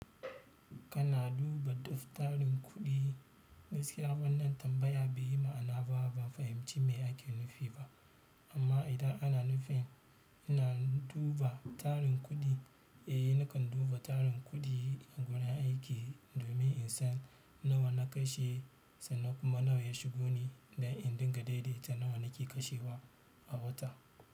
Kana duba daftarin kuɗi gaskiya wannan tambaya bai yi ma'ana ba, ban fahimci me ake nufi ba. Amma idan ana nufi ina duba tarin kuɗi, eh nakan duba tarin kuɗi a gurin aiki domin in san nawa na kashe sannan kuma nawa ya shigo ne, don in dinga daidaita nawa ya shigo a wata.